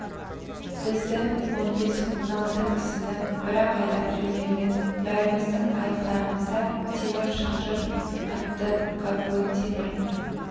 бізді он бес он алты кісіні бір-ақ айдап жөнелді бәріміздің аяқтарымызда темір шынжыр атты конвой темір